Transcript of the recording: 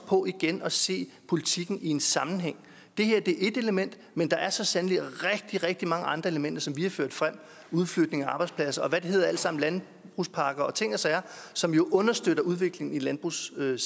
på igen at se politikken i en sammenhæng det her er ét element men der er så sandelig rigtig rigtig mange andre elementer som vi har ført frem udflytning af arbejdspladser landbrugspakke og hvad det hedder alt sammen som jo understøtter udviklingen i landbrugssegmentet